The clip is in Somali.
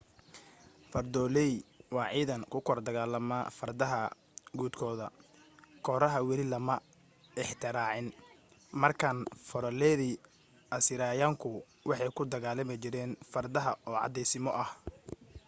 fardoolay waa ciidan ku kor dagaalama fardaha guudkooda kooraha weli lama ikhtiraacin markaan fardooladii asiiriyaanku waxay ku dagaalami jireen fardaha oo caddaysimo ah